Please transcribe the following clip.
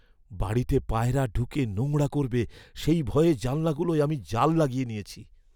বাড়িতে পায়রা ঢুকে নোংরা করবে, সেই ভয়ে জানলাগুলোয় আমি জাল লগিয়ে নিয়েছি।